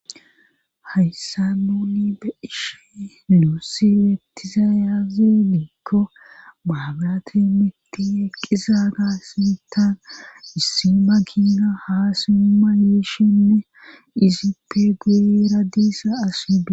hayssan nuuni be7ishe nuussi betizay azee gikko mabrate mitti eqqizagaa sintan issi makiina haasima yiishinne izippe guuyera diiza assi de